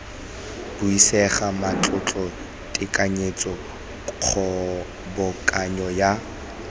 buisega matlotlo tekanyetso kgobokanyo ya